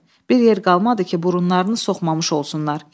Bir yer qalmadı ki, burunlarını soxmamış olsunlar.